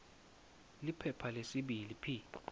liphepha lesibili p